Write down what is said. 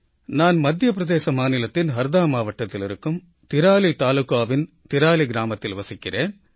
நான் மத்திய பிரதேச மாநிலத்தின் ஹர்தா மாவட்டத்தில் இருக்கும் திராலி தாலுகாவின் திராலி கிராமத்தில் வசிக்கிறேன்